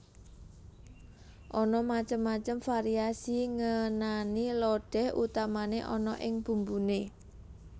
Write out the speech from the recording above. Ana macem macem variasi ngenani lodéh utamané ana ing bumbuné